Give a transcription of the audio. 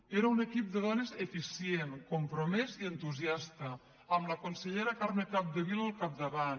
era un equip de dones eficient compromès i entusiasta amb la consellera carme capdevila al capdavant